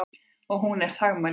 Og hún er þagmælsk.